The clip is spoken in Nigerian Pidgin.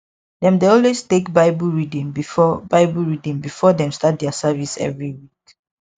dem dey always take bible reading before bible reading before dem start their service every week